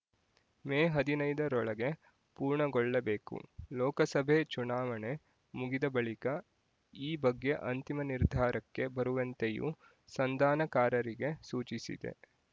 ಮೇ ಹದಿನೈದರೊಳಗೆ ಪೂರ್ಣಗೊಳ್ಳಬೇಕು ಲೋಕಸಭೆ ಚುನಾವಣೆ ಮುಗಿದ ಬಳಿಕ ಈ ಬಗ್ಗೆ ಅಂತಿಮ ನಿರ್ಧಾರಕ್ಕೆ ಬರುವಂತೆಯೂ ಸಂಧಾನಕಾರರಿಗೆ ಸೂಚಿಸಿದೆ